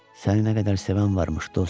Səni nə qədər sevən varmış, dost.